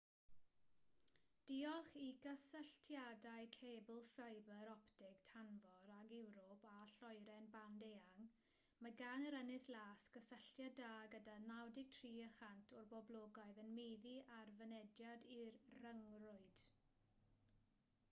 diolch i gysylltiadau cebl ffibr optig tanfor ag ewrop a lloeren band eang mae gan yr ynys las gysylltiad da gyda 93% o'r boblogaeth yn meddu ar fynediad i'r rhyngrwyd